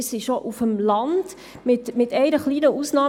Es war auch auf dem Land so, mit einer kleinen Ausnahme.